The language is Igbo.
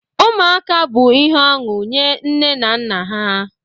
Ụmụaka bụ ihe ọṅụ nye nne na nna ha